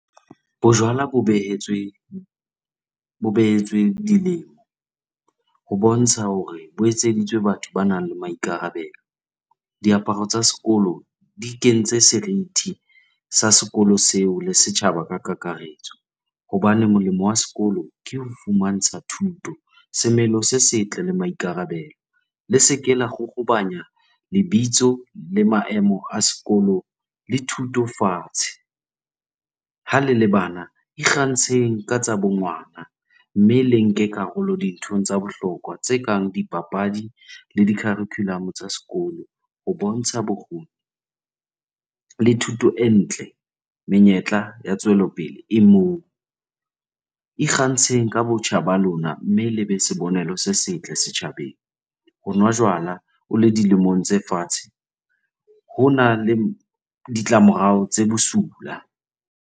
Bojwala bo behetswe dilemo ho bontsha hore bo etseditswe batho ba nang le maikarabelo. Diaparo tsa sekolo di kentse serithi sa sekolo seo le setjhaba ka kakaretso hobane molemo wa sekolo ke ho fumantsha thuto, semelo se setle le maikarabelo. Le seke la lebitso le maemo a sekolo le thuto fatshe. Ha le le bana ikgantsheng ka tsa bo ngwana mme le nke karolo dinthong tsa bohlokwa tse kang dipapadi le di-curriculum tsa sekolo ho bontsha bokgoni le thuto e ntle. Menyetla ya tswelopele e moo. Ikgantsheng ka botjha ba lona mme le be sibonelo se setle setjhabeng. Ho nwa jwala o le dilemong tse fatshe hona le ditlamorao tse bosula.